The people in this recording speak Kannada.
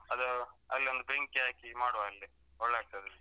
ಅದು ಅಲ್ಲೊಂದು ಬೆಂಕಿ ಹಾಕಿ ಮಾಡುವ ಅಲ್ಲೇ ಒಳ್ಳೆ ಆಗ್ತದೆ.